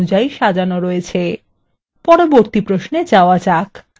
পরবর্তী প্রশ্নে যাওয়া যাক